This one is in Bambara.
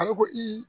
A bɛ koyi